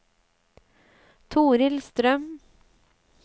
Torhild Strøm